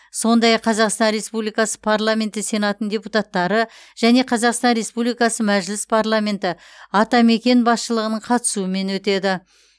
сондай ақ қазақстан республикасы парламенті сенатының депутаттары және қазақстан республикасы мәжіліс парламенті атамекен басшылығының қатысуымен өтеді